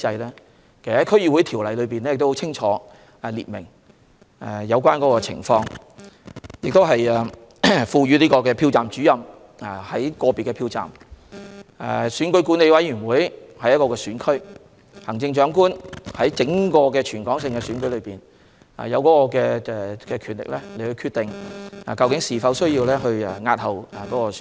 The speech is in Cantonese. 其實，《區議會條例》已清楚訂明有關情況，例如，賦予票站主任在個別的票站、選管會在一個選區、行政長官在整個香港的選舉中有權力決定是否需要押後選舉。